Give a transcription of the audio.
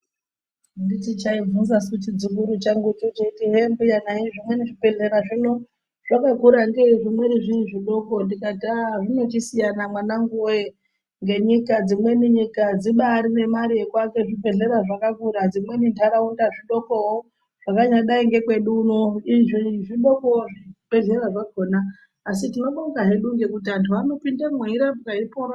Anditi chaibvunza su chidzukuru changu cho cheiti cheiti hee mbuya nei zvimweni zvibhedhlera zvino zvakakura ngei zvimweni zviri zvidoko ndikati ahh zvinochisiyana mwananguwe ngenyika, dzimweni nyika dzibari nemare yekuaka zvibhedhlera zvakakura dzimweni ndaraunda zvidokowo zvakanyadai ngekwedu uno zvidokowo zvibhedhlera zvakona asi tinobonga hedu ngekuti antu anopindemwo eirapwa eipora.